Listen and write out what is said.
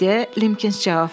deyə Limkins cavab verdi.